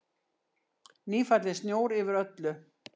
Nýfallinn snjór yfir öllu.